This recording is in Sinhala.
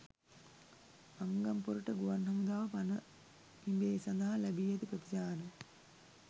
අංගම්පොරට ගුවන් හමුදාව පණ පිඹේ සඳහා ලැබී ඇති ප්‍රතිචාර